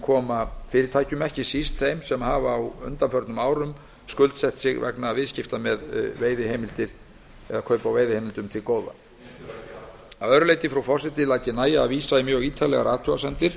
koma fyrirtækjum til góða ekki síst þeim sem hafa á undanförnum árum skuldsett sig vegna kaupa á veiðiheimildum að öðru leyti frú forseti læt ég nægja að vísa í mjög ítarlegar athugasemdir